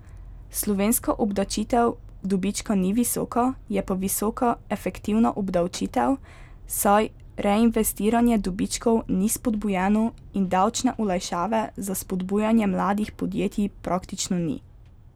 Slovenska obdavčitev dobička ni visoka, je pa visoka efektivna obdavčitev, saj reinvestiranje dobičkov ni spodbujeno in davčne olajšave za spodbujanje mladih podjetij praktično ni.